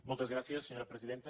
moltes gràcies senyora presidenta